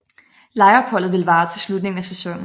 Lejeopholdet ville vare til slutningen af sæsonen